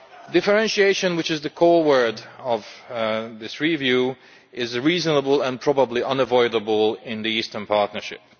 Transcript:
Differentiation, which is the core word of this review, is reasonable and probably unavoidable in the Eastern Partnership.